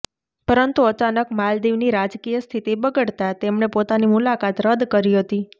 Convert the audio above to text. પરંતુ અચાનક માલદીવની રાજકીય સ્થિતિ બગડતા તેમણે પોતાની મુલાકાત રદ્દ કરી હતી